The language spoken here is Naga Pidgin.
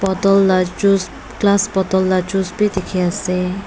bottle la juice glass bottle laga juice bi dekhi ase.